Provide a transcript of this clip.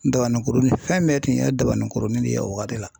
Dabaninkurunin fɛn bɛɛ tun ye dabaninkurunin nin ye o wagati la.